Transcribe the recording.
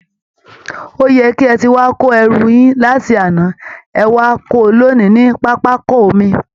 Ó yẹ kí ẹ ti wá kó ẹrù yín láti àná, ẹ wá kó o lénìí ní pápákọ omi!